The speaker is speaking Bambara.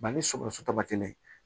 Ba ni sɔgɔsɔgɔ kelen